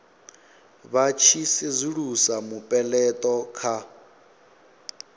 vha tshi sedzulusa mupeleto kha